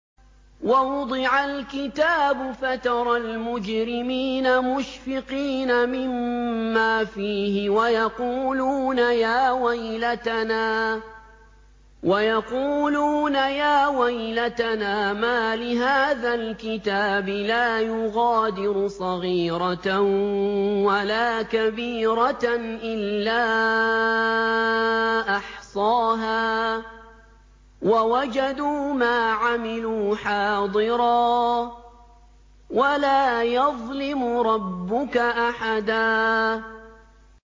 وَوُضِعَ الْكِتَابُ فَتَرَى الْمُجْرِمِينَ مُشْفِقِينَ مِمَّا فِيهِ وَيَقُولُونَ يَا وَيْلَتَنَا مَالِ هَٰذَا الْكِتَابِ لَا يُغَادِرُ صَغِيرَةً وَلَا كَبِيرَةً إِلَّا أَحْصَاهَا ۚ وَوَجَدُوا مَا عَمِلُوا حَاضِرًا ۗ وَلَا يَظْلِمُ رَبُّكَ أَحَدًا